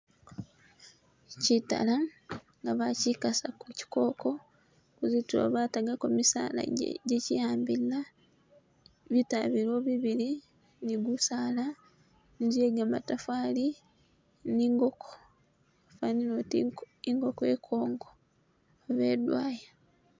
Chitala nga bakikhasa ku chikoko kuzitulo batagako misaala je chiwambilila bitala biliwo bibili ni gusaala inzu iye gamatafali ne ingoko yafanile oti ingoko ikongo oba idwaya